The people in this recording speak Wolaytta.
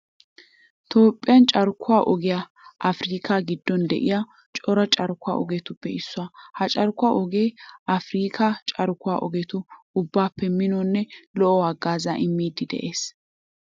Toophphiya carkkuwa ogee afirkkaa giddon de'iya cora carkkuwa ogetuppe issuwa. Ha carkkuwa ogee afirkkaa carkkuwa ogetu ubbaappe minonne lo"o haggaazaa immiiddi de'ees.